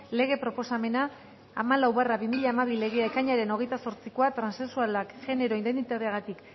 lege proposamena hamalau barra bi mila hamabi legea ekainaren hogeita zortzikoa transexualak genero identitateagatik